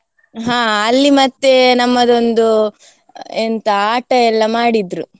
ಹಾ, ಅಲ್ಲಿ ಮತ್ತೆ ನಮ್ಮದೊಂದು, ಎಂತ ಆಟ ಎಲ್ಲ ಮಾಡಿದ್ರು.